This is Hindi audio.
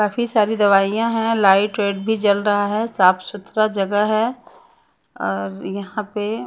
काफी सारी दवाइयाँ हैं लाइट वाइट भी जल रहा है साफ सुथरा जगह है और यहाँ पे --